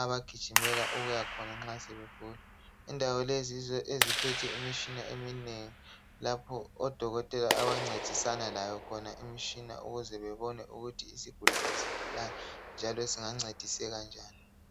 abagijimela ukuya khona nxa sebegula. Indawo lezi yizo eziphethe imitshina eminengi lapho odokotela abancedisana layo imitshina ukuze bebone ukuthi isigulane sigulani njalo singancediseka njani.